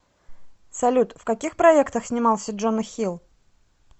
салют в каких проектах снимался джона хилл